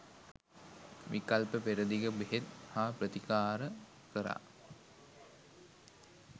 විකල්ප පෙරදිග බෙහෙත් හා ප්‍රතිකාර කරා